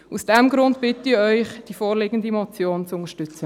Aus diesem Grund bitte ich Sie, die vorliegende Motion zu unterstützen.